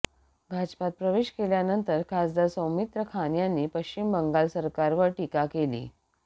भाजपात प्रवेश केल्यानंतर खासदार सौमित्र खान यांनी पश्चिम बंगाल सरकारवर टीका केली